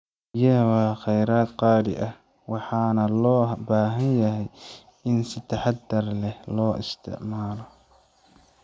Biyaha waa kheyraad qaali ah, waxaana loo baahan yahay in si taxaddar leh loo ilaaliyo.